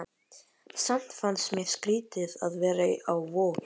Samt fannst mér skrýtið að vera á Vogi.